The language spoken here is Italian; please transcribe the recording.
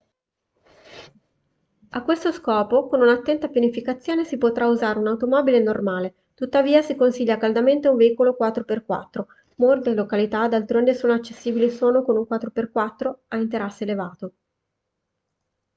a questo scopo con un'attenta pianificazione si potrà usare un'automobile normale tuttavia si consiglia caldamente un veicolo 4x4. molte località d'altronde sono accessibili solo con un 4x4 a interasse elevato